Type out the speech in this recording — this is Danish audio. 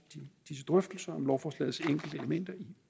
disse drøftelser om lovforslagets enkelte elementer i